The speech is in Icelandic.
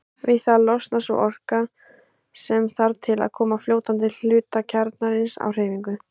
Við það losnar sú orka sem þarf til að koma fljótandi hluta kjarnans á hreyfingu.